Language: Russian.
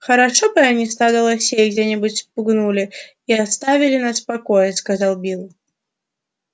хорошо бы они стадо лосей где нибудь спугнули и оставили нас в покое сказал билл